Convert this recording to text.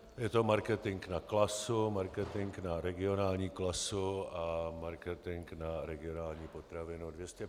Je to marketing na Klasu, marketing na Regionální klasu a marketing na Regionální potravinu.